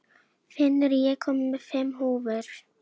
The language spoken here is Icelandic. Finnur, ég kom með fimm húfur!